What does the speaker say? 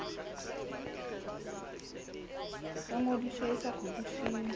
ya ngodiso e sa kgutlisweng